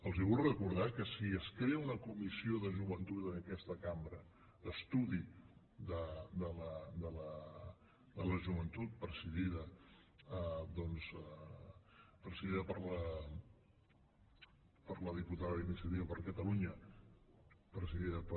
els vull recordar que si es crea una comissió de joventut en aquesta cambra d’estudi de la joventut presidida doncs per la diputada d’iniciativa per catalunya presidida per